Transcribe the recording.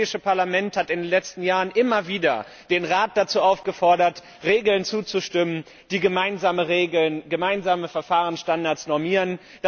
Das Europäische Parlament hat in den letzten Jahren immer wieder den Rat dazu aufgefordert, Regeln zuzustimmen, die gemeinsame Verfahrenstandards normieren.